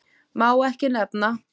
Má ekki nefna